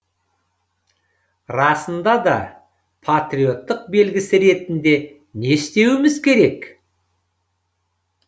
расында да патриоттық белгісі ретінде не істеуіміз керек